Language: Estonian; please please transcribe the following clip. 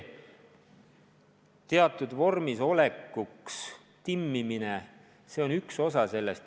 Teatud ajaks vormis oleku timmimine on üks osa tööst.